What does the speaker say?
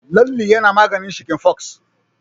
Lalle yana maganin cikin fox.